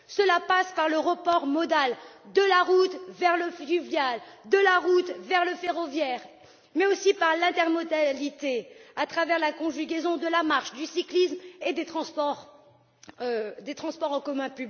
Cela passera par le report modal de la route vers le fluvial, de la route vers le ferroviaire, mais aussi par l'intermodalité à travers la conjugaison de la marche, du cyclisme et des transports en commun.